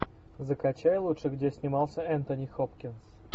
закачай лучше где снимался энтони хопкинс